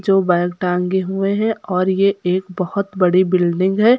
जो बैग टांगे हुए हैं और ये एक बहोत बड़ी बिल्डिंग है।